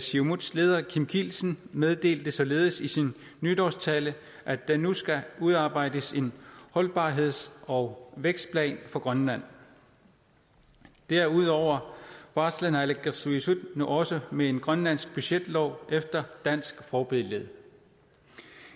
siumuts leder kim kielsen meddelte således i sin nytårstale at der nu skal udarbejdes en holdbarheds og vækstplan for grønland derudover barsler naalakkersuisut nu også med en grønlandsk budgetlov efter dansk forbillede